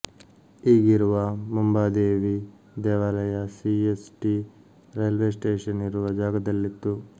ಈಗಿರುವ ಮುಂಬಾದೇವಿ ದೇವಾಲಯ C S T railway station ಇರುವ ಜಾಗದಲ್ಲಿತ್ತು